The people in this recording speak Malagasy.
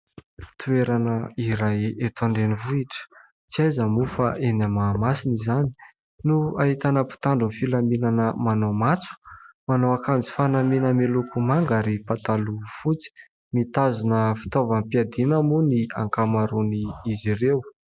Toerana iray eto andrenivohitra, tsy aiza moa fa eny Mahamasina izany no ahitana mpitandro ny filaminana manao matso, manao akanjo fanamina miloko manga ary pataloha fotsy. Mitazona fitaovam-piadiana moa ny ankamaron' izy ireo.